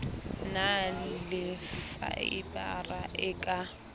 na le faebara e ka